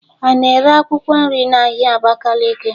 Ana ere akwụkwọ nri n'ahịa Abakaliki?